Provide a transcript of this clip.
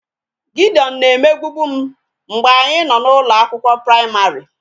Gideon na-emegbubu m mgbe anyị nọ n'ụlọ akwụkwọ praịmarị